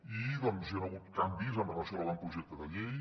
i doncs hi han hagut canvis en relació amb l’avantprojecte de llei